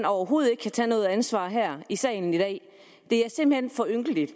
overhovedet ikke tage noget ansvar her i salen i dag det er simpelt hen for ynkeligt